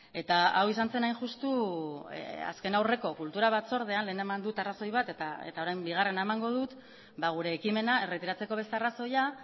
eta hau izan zen hain justu azken aurreko kultura batzordean lehen eman dut arrazoi bat eta orain bigarrena emango dut gure ekimena erretiratzeko beste arrazoia